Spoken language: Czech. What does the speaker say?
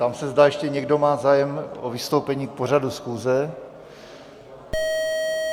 Ptám se, zda ještě někdo má zájem o vystoupení k pořadu schůze?